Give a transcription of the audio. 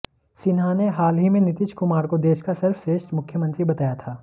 सिन्हा ने हाल ही में नीतीश कुमार को देश का सर्वश्रेष्ठ मुख्यमंत्री बताया था